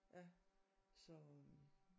Ja så øh